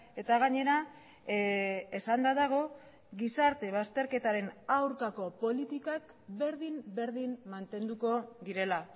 eta gainera esanda dago gizarte bazterketaren aurkako politikak berdin berdin mantenduko direla